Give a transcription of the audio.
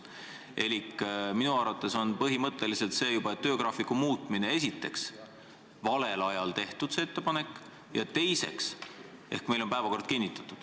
Elik esiteks on minu arvates põhimõtteliselt juba töögraafiku muutmise ettepanek valel ajal tehtud, sest meil on päevakord kinnitatud.